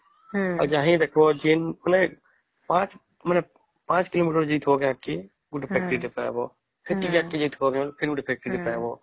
ଆଉ ହେଇଟ ଜିନ କଲେ ୫ କିଲୋମେଟର ଯାଇଛେ କି ଗୋଟେ factory ଟେ ପାଇବା କିଛି ବାଟ ଯାଇଥିବା ଫେର ଗୋଟେ factory ଟେ ପାଇବା